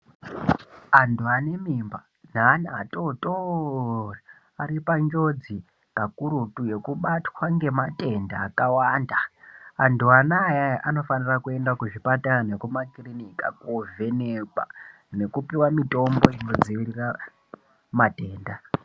Andhu ane mimba neana atotori ari panjodzi pakurutu yekubatwa ngematenda akawanda andhu anaayaya anofanira kuenda kuzvipatara nekumakirinika kovhenekwa nekupiwa mitombo yekudziwirira matenda.